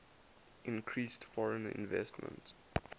increased foreign investment